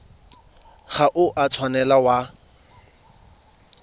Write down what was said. ga o a tshwanela wa